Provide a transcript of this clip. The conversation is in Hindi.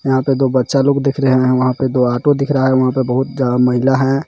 यहां पर दो बच्चा लोग दीख रहे हैं वहां पे दो ऑटो दिख रहा है वहां पे बहुत ज्या महिला है.